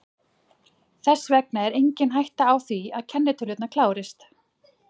Þess vegna er engin hætta á því að kennitölurnar klárist.